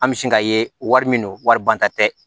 An bɛ sin ka ye wari min don waribonta tɛ